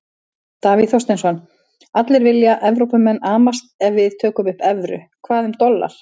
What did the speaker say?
Davíð Þorsteinsson: Allir vilja, Evrópumenn amast ef við tökum upp evru, hvað um dollar?